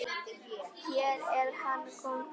Hér er hann kóngur.